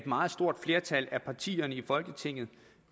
meget stort flertal af partierne i folketinget